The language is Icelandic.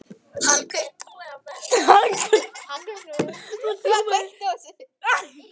Það hriktir í stoðum þessa þjóðfélags.